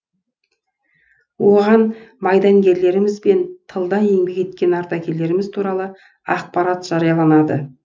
оған майдангерлеріміз бен тылда еңбек еткен ардагерлеріміз туралы ақпарат жарияланады